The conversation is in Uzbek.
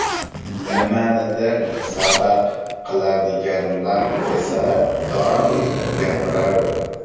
Nimanidir sabab qiladiganlar esa doim gapiraveradi.